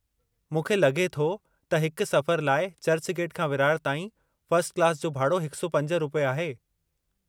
मूंखे लगे॒ थो त हिकु सफ़रु लाइ चर्चगेट खां विरार ताईं फ़र्स्ट क्लास जो भाड़ो 105 रु. आहे।